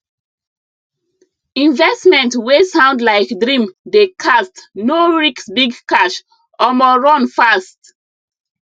investment wey sound like dream dey cast no risk big cash omo run fast